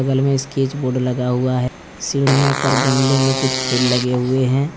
बगल में sketch board लगा हुआ है सीढ़ियों पर गमले में कुछ फूल लगे हुए हैं।